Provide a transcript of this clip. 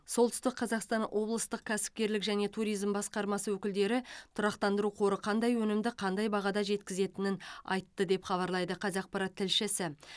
солтүстік қазақстан облыстық кәсіпкерлік және туризм басқармасы өкілдері тұрақтандыру қоры қандай өнімді қандай бағада жеткізетінін айтты деп хабарлайды қазақпарат тілшісі